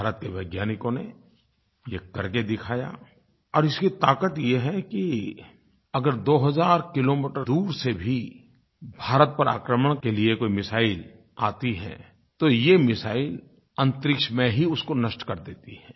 भारत के वैज्ञानिकों ने ये करके दिखाया और इसकी ताक़त ये है कि अगर 2000 किलोमीटर दूर से भी भारत पर आक्रमण के लिये कोई मिसाइल आती है तो ये मिसाइल अन्तरिक्ष में ही उसको नष्ट कर देती है